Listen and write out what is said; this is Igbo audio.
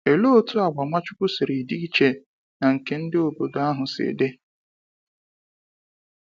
Olee otú àgwà Nwachukwu siri dị iche na nke ndị obodo ahụ si dị!